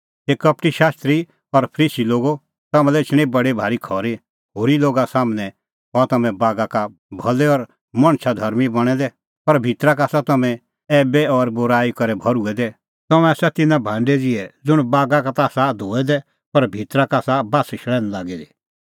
हे कपटी शास्त्री और फरीसी लोगो तम्हां लै एछणी बडी भारी खरी होरी लोगा सम्हनै हआ तम्हैं बागा का भलै और मणछ धर्मीं बणैं दै पर भितरा का आसा तम्हैं ऐईबी और बूराई करै भर्हुऐ दै तम्हैं आसा तिन्नां भांडै ज़िहै ज़ुंण बागा का ता आसा धोऐ दै पर भितरा का आसा बास्स शल़ैन्ह लागी दी